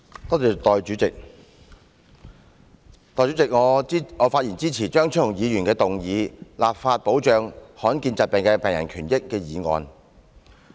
代理主席，我發言支持張超雄議員動議的"立法保障罕見疾病的病人權益"議案。